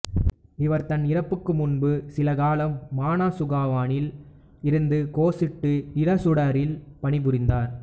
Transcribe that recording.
இவர் தன் இறப்புக்கு முன்பு சிலகாலம் மனாசுகுவானில் இருந்த கோசுட்டு இசுடாரில் பணிபுரிந்தார்